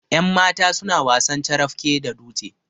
yanmata suna wasan carafke da dutse